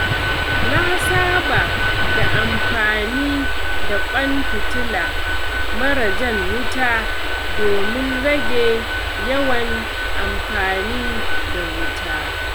Na saba da amfani da ƙwan fitila mara jan wuta domin rage yawan amfani da wuta.